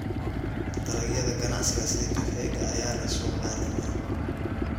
Dalagyada ganacsiga sida kafeega ayaa leh suuq caalami ah.